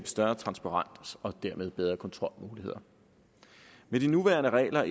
større transparens og dermed bedre kontrolmuligheder med de nuværende regler